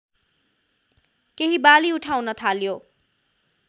केही बाली उठाउन थाल्यो